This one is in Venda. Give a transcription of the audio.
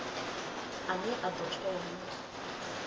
a ne a ḓo thoma